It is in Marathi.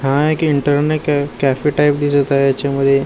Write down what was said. हा एक इंटरने कॅ कॅफे टाईप दिसत आहे याच्यामध्ये--